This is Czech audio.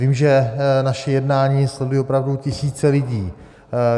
Vím, že naše jednání sledují opravdu tisíce lidí.